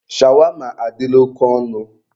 Shawama adịla oke ọnụ.